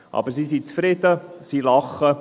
Aber sie sind zufrieden, lachen.